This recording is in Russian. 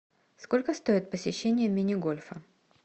сколько стоит посещение мини гольфа